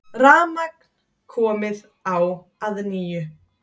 Rafmagn komið á að nýju